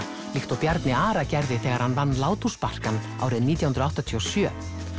líka og Bjarni Ara gerði þegar hann vann árið nítján hundruð áttatíu og sjö